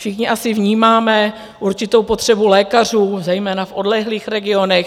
Všichni asi vnímáme určitou potřebu lékařů, zejména v odlehlých regionech.